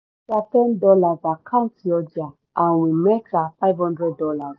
títà ten dollars àkántì ọjà-àwìn mẹ́ta five hundred dollars